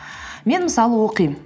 мен мысалы оқимын